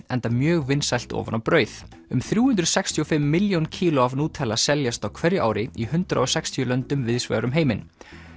enda mjög vinsælt ofan á brauð um þrjú hundruð sextíu og fimm milljón kíló af seljast á hverju ári í hundrað og sextíu löndum víðsvegar um heiminn